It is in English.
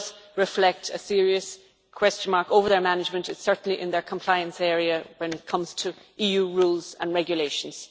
there is a serious question mark over their management, certainly in the compliance area, when it comes to EU rules and regulations.